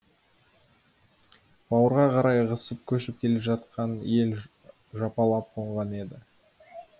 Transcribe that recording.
бауырға қарай ығысып көшіп келе жатқан ел жапалап қонған еді